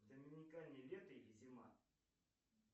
в доминикане лето или зима